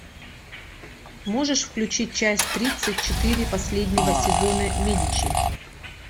можешь включить часть тридцать четыре последнего сезона медичи